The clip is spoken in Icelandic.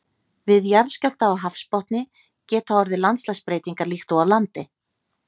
Við jarðskjálfta á hafsbotni geta orðið landslagsbreytingar líkt og á landi.